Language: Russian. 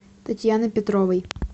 татьяны петровой